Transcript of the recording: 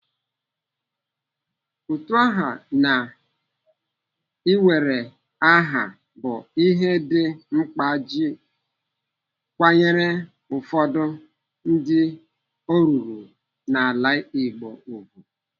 Utu aha na iwere aha bụ ihe dị mkpa iji kwanyere ụfọdụ ndị o ruru n'ala Igbo ùgwù.